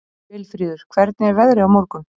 Vilfríður, hvernig er veðrið á morgun?